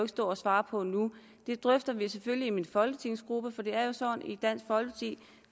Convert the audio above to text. stå og svare på nu det drøfter vi selvfølgelig i min folketingsgruppe for det er jo sådan i dansk folkeparti